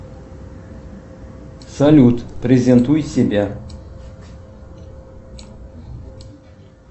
салют презентуй себя